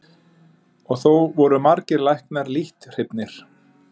Og þó voru margir læknar lítt hrifnir.